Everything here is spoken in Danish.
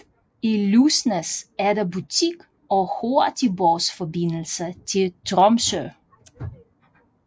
I Lysnes er der butik og hurtigbådsforbindelse til Tromsø